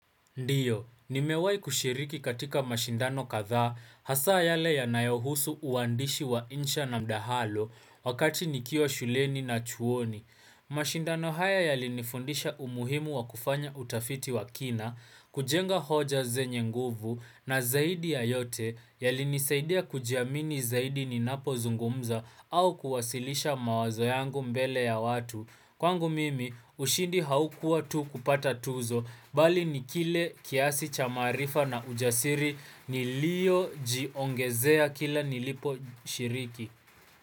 Ndiyo, nimewahi kushiriki katika mashindano kadhaa hasaa yale yanayohusu uandishi wa insha na mdahalo wakati nikiwa shuleni na chuoni. Mashindano haya yalinifundisha umuhimu wa kufanya utafiti wa kina, kujenga hoja zenye nguvu na zaidi ya yote yalinisaidia kujiamini zaidi ninapozungumza au kuwasilisha mawazo yangu mbele ya watu. Kwangu mimi, ushindi haukua tu kupata tuzo, bali ni kile kiasi cha maarifa na ujasiri niliyojiongezea kila niliposhiriki.